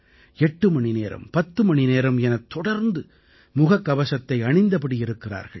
8 மணிநேரம் பத்து மணிநேரம் எனத் தொடர்ந்து முகக்கவசத்தை அணிந்தபடி இருக்கிறார்கள்